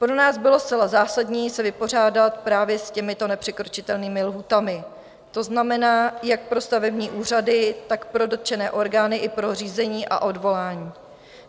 Pro nás bylo zcela zásadní se vypořádat právě s těmito nepřekročitelnými lhůtami, to znamená, jak pro stavební úřady, tak pro dotčené orgány i pro řízení a odvolání.